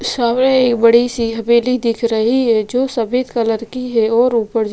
सामने एक बडी-सी हवेली दिख रही है जो सफ़ेद कलर की हैऔर ऊपर ज --